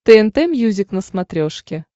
тнт мьюзик на смотрешке